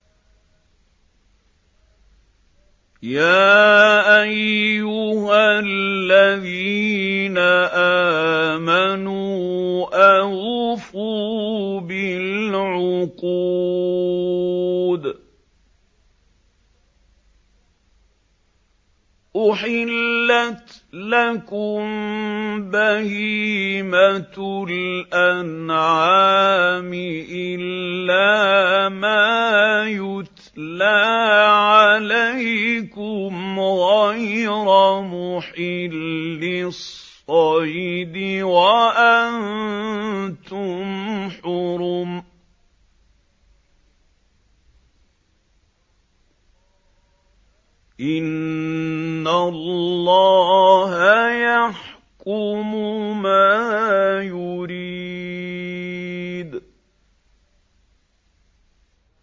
يَا أَيُّهَا الَّذِينَ آمَنُوا أَوْفُوا بِالْعُقُودِ ۚ أُحِلَّتْ لَكُم بَهِيمَةُ الْأَنْعَامِ إِلَّا مَا يُتْلَىٰ عَلَيْكُمْ غَيْرَ مُحِلِّي الصَّيْدِ وَأَنتُمْ حُرُمٌ ۗ إِنَّ اللَّهَ يَحْكُمُ مَا يُرِيدُ